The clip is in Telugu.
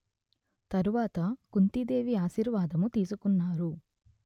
తరువాత కుంతీదేవి ఆశీర్వాదము తీసుకున్నారు